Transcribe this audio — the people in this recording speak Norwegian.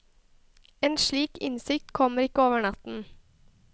En slik innsikt kommer ikke over natten.